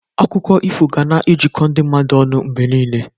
Akụkọ ifo ga na-ejikọ ndị mmadụ ọnụ mgbe niile.